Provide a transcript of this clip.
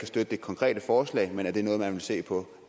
støtte det konkrete forslag men det noget man vil se på